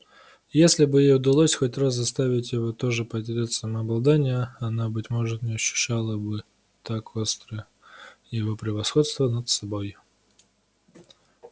если бы ей удалось хоть раз заставить его тоже потерять самообладание она быть может не ощущала бы так остро его превосходства над собой